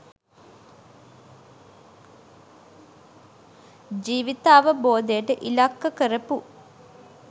ජීවිතාවබෝධයට ඉලක්ක කරපු